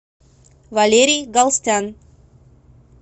валерий галстян